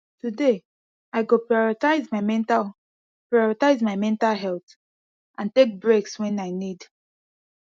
today i go prioritize my mental prioritize my mental health and take breaks when i need